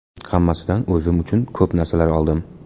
Hammasidan o‘zim uchun ko‘p narsalar oldim.